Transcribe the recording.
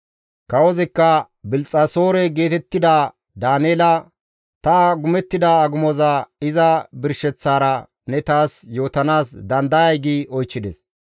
Kawozikka Bilxxasoore geetettida Daaneela, «Ta agumettida agumoza iza birsheththaara ne taas yootanaas dandayay?» gi oychchides.